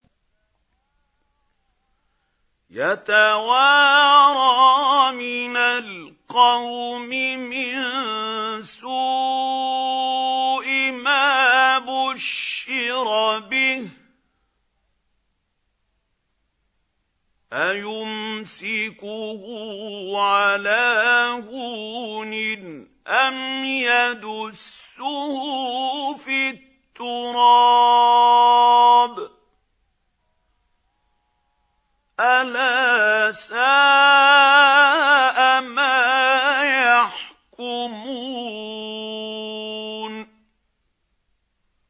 يَتَوَارَىٰ مِنَ الْقَوْمِ مِن سُوءِ مَا بُشِّرَ بِهِ ۚ أَيُمْسِكُهُ عَلَىٰ هُونٍ أَمْ يَدُسُّهُ فِي التُّرَابِ ۗ أَلَا سَاءَ مَا يَحْكُمُونَ